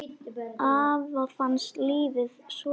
Afa fannst lífið svo fínt.